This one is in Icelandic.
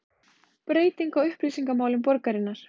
Breyting á upplýsingamálum borgarinnar